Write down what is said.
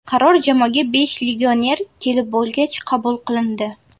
Qaror jamoaga besh legioner kelib bo‘lgach qabul qilindi.